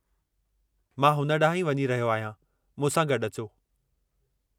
मां हुन ॾांहुं ई वञी रहियो आहियां, मूं सां गॾु अचो।